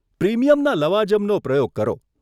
પ્રીમિયમના લવાજમનો પ્રયોગ કરો.